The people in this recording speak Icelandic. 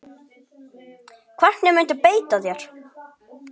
Hvernig muntu beita þér?